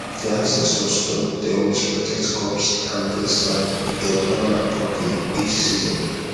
the ancestor stone dey always protect crops and bless land if them honour am properly each season